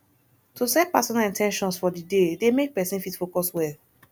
to set personal in ten tions for di day dey make persin fit focus well